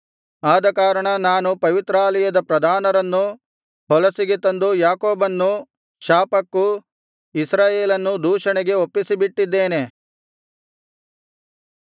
ಆದಕಾರಣ ನಾನು ಪವಿತ್ರಾಲಯದ ಪ್ರಧಾನರನ್ನು ಹೊಲಸಿಗೆ ತಂದು ಯಾಕೋಬನ್ನು ಶಾಪಕ್ಕೂ ಇಸ್ರಾಯೇಲನ್ನು ದೂಷಣೆಗೂ ಒಪ್ಪಿಸಿಬಿಟ್ಟಿದ್ದೇನೆ